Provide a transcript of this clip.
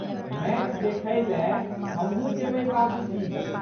Match देखैलए हमहूँ जयबै बाबूजी!